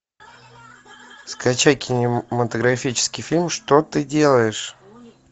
скачай кинематографический фильм что ты делаешь